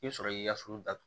I bɛ sɔrɔ k'i ka so datugu